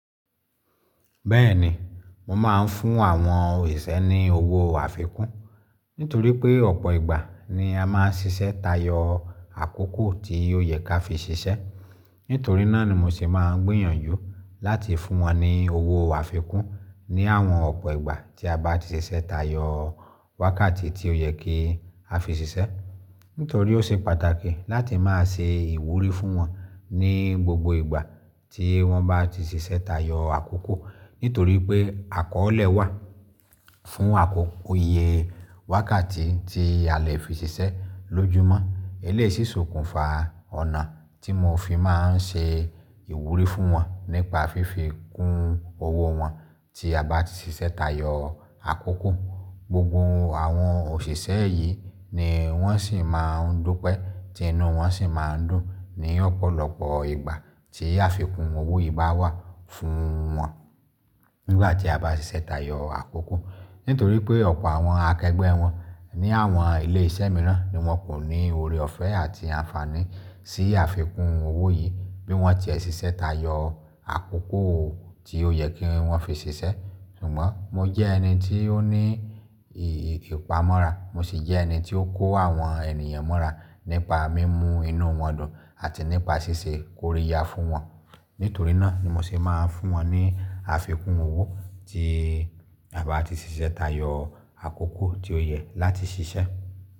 Bẹ́ẹ̀ni, mo máa ń fún àwọn òṣìṣẹ́ ní owó àfikún nítorí pé ọ̀pọ̀ ìgbà ni a máa ń ṣiṣẹ́ tayọ àkókò tí ó yẹ ká fi ṣiṣẹ́. Nítorí náà ni mo ṣe máa ń gbìyànjú láti fún wọn ní owó àfikún ní àwọn ọ̀pọ̀ ìgbà tí a bá ti ṣiṣẹ́ tayọ wákàtí tí ó yẹ kí a fi ṣiṣẹ́. Nítorí ó ṣe pàtàkì láti máa ṣe ìwúrí fún wọn ní gbogbo ìgbà tí wọ́n bá ti ṣiṣẹ́ tayọ àkókò. Nítorí pé àkọ́ọ̀lẹ̀ wà fún àkókò iye wákàtí tí a lè fi ṣiṣẹ́ lójúmọ́. Eléyìí sì sokùnfa ọ̀nà tí mo fi máa ń ṣe ìwúrí fún wọn nípa fífi kún owó wọn tí a bá ti ṣiṣẹ́ tayọ àkókò. Gbogbo àwọn òṣìṣẹ́ yìí ni wọ́n sì máa ń dúpẹ́, ti inú wọn sì máa ń dùn ní ọ̀pọ̀lọpọ̀ ìgbà tí àfikún owó yìí bá wà fún wọn nígbà tí a bá ṣiṣẹ́ tayọ àkókò. Nítorí pé ọ̀pọ̀ àwọn akẹgbẹ́ wọn ní àwọn ilé iṣẹ́ mìíràn ni wọ́n kò ní oore ọ̀fẹ́ àti àǹfààní sí àfikún owó yìí, bí wọ́n tiẹ ṣiṣẹ́ tayọ àkókò tí ó yẹ kí wọ́n fi ṣiṣẹ́. Ṣùgbọ́n mo jẹ́ ẹni tí ó ní ìpámọ́ra, mo sì jẹ́ ẹni tí ó kó àwọn ènìyàn mọ́ra nípa mímú inú wọn dùn àti nípa ṣíṣe koríya fún wọn. Nítorí náà ni mo ṣe máa ń fún wọn ní àfikún owó tí a bá ti ṣiṣẹ́ tayọ àkókò tí ó yẹ láti ṣiṣẹ́.